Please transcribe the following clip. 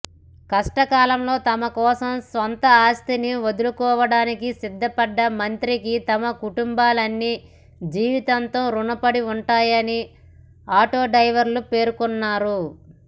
కష్టకాలంలో తమకోసం సొంత ఆస్తిని వదులుకోడానికి సిద్దపడ్డ మంత్రికి తమ కుటుంబాలన్నీ జీవితాంతం రుణపడి ఉంటామని ఆటోడ్రైవర్లు పేర్కొన్నారు